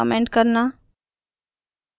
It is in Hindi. कमेंट करना